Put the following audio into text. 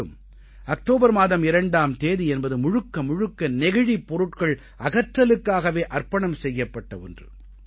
மேலும் அக்டோபர் மாதம் 2ஆம் தேதி என்பது முழுக்க முழுக்க நெகிழிப் பொருட்கள் அகற்றலுக்காகவே அர்ப்பணம் செய்யப்பட்ட ஒன்று